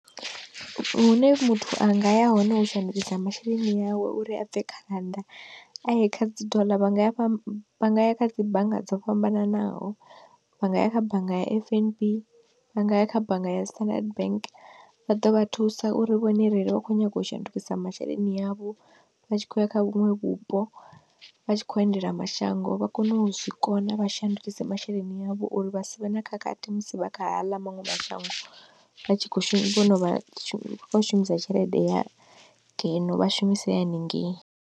Hune muthu anga ya hone u shandukisa masheleni awe uri a bve kha rannda kha dzi doḽa vhanga ya fham vha ngaya kha dzi bannga dzo fhambananaho, vha nga ya kha bannga ya F_N_B vha nga ya kha bannga ya standard bank vha ḓo vha thusa uri vhone ereli vha kho nyaga u shandukisa masheleni avho, vha tshi khou ya kha vhuṅwe vhupo vha tshi kho endela mashango vha kone u zwikona vha shandukise masheleni avho uri vha savhe na khakhathi musi vha kha ḽa maṅwe mashango vha tshi kho shuma vho no vha shumisa tshelede ya ngeno vha shumise ya haningei.